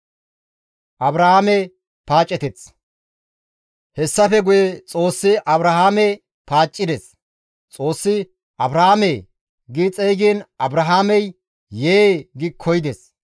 Hessafe guye Xoossi Abrahaame paaccides; Xoossi, «Abrahaamee!» gi xeygiin Abrahaamey, «Yee!» gi koyides.